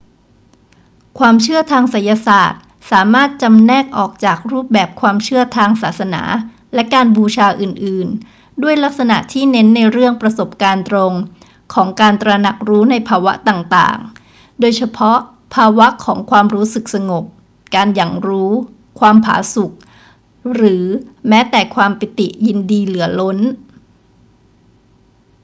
ความเชื่อทางไสยศาสตร์สามารถจำแนกออกจากรูปแบบความเชื่อทางศาสนาและการบูชาอื่น ๆ ด้วยลักษณะที่เน้นในเรื่องประสบการณ์ตรงของการตระหนักรู้ในภาวะต่าง ๆ โดยเฉพาะภาวะของความรู้สึกสงบ การหยั่งรู้ ความผาสุก หรือแม้แต่ความปิติยินดีเหลือล้น